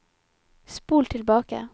spol tilbake